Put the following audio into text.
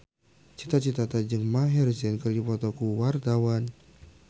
Cita Citata jeung Maher Zein keur dipoto ku wartawan